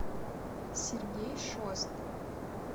сергей шост